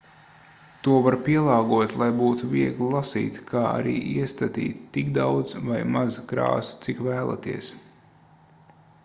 to var pielāgot lai būtu viegli lasīt kā arī iestatīt tik daudz vai maz krāsu cik vēlaties